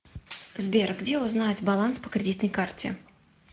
сбер где узнать баланс по кредитной карте